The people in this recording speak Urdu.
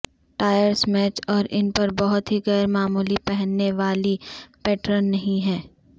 ٹائیرز میچ اور ان پر بہت ہی غیر معمولی پہننے والی پیٹرن نہیں ہیں